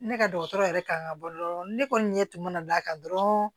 Ne ka dɔgɔtɔrɔ yɛrɛ kan ka bɔ dɔrɔn ne kɔni ɲɛ tun mana d'a kan dɔrɔn